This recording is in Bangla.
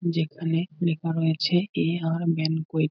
যেখানে লেখা রয়েছে এ আর ম্যান কুইট ।